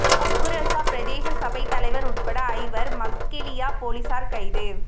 ஹக்குரஸ்ஸ பிரதேச சபை தலைவர் உட்பட ஐவர் மஸ்கெலியா பொலிஸார் கைது